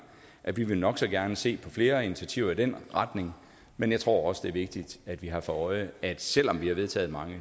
at vi nok så gerne vil se flere initiativer i den retning men jeg tror også det er vigtigt at vi har for øje at selv om vi har vedtaget mange